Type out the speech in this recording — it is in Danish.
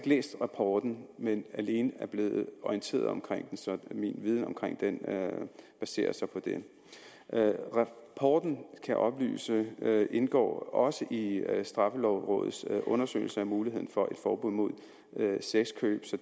læst rapporten men er alene blevet orienteret om den så min viden om den baserer sig på det rapporten kan jeg oplyse indgår også i straffelovrådets undersøgelse af muligheden for et forbud mod sexkøb